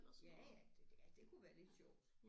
Ja ja det det ja det kunne være lidt sjovt